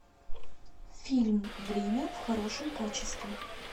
фильм время в хорошем качестве